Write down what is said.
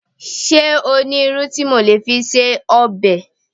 Ṣé o ní irú tí mo lè fi se ọbẹ̀?